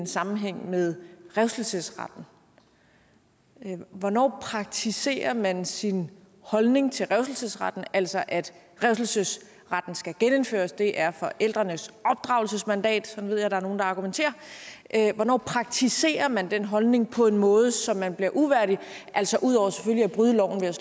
sammenhæng med revselsesretten hvornår praktiserer man sin holdning til revselsesretten altså at revselsesretten skal genindføres fordi det er forældrenes opdragelsesmandat sådan ved jeg der er nogle der argumenterer hvornår praktiserer man den holdning på en måde så man bliver uværdig altså ud over selvfølgelig at bryde loven